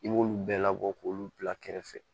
I b'olu bɛɛ labɔ k'olu bila kɛrɛfɛ